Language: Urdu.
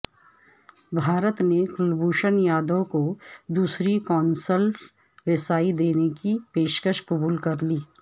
بھارت نے کلبھوشن یادیو کو دوسری قونصلر رسائی دینے کی پیشکش قبول کرلی